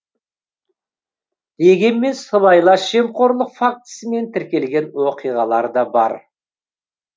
дегенмен сыбайлас жемқорлық фактісімен тіркелген оқиғалар да бар